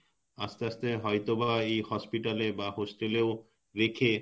আস্তে আস্তে হয়তোবা এই hospital এ বা Hostel এ ও রেখে